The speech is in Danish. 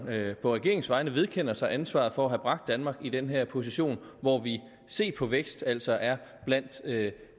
på regeringens vegne vedkender sig ansvaret for at have bragt danmark i den her position hvor vi set på vækst altså er blandt